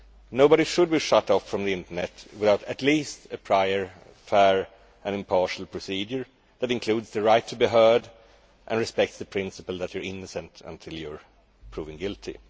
Nobody should be shut off from the internet without at least a prior, fair and impartial procedure that includes the right to be heard and respects the principle that you are innocent until you are proven guilty.